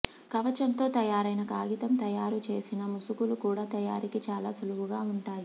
కవచంతో తయారైన కాగితం తయారు చేసిన ముసుగులు కూడా తయారీకి చాలా సులువుగా ఉంటాయి